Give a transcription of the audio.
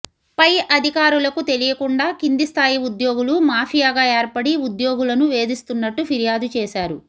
పై అధికారులకు తెలియకుండా కింది స్థాయి ఉద్యోగులు మాఫియాగా ఏర్పడి ఉద్యోగులను వేదిస్తున్నట్టు ఫిర్యాదు చేశారు